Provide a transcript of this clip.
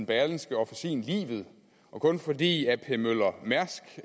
berlingske officin livet og kun fordi ap møller mærsk